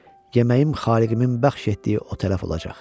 yeməyim xaliqimin bəxş etdiyi o tərəf olacaq.